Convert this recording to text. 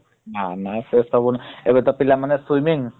ନା ନା ସେ ସବୁ ଏବେ ତ ପିଲାମାନେ swimming